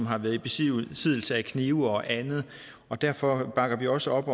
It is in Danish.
har været i besiddelse af knive og andet og derfor bakker vi også op